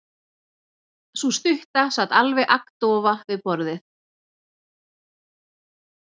Sú stutta sat alveg agndofa við borðið.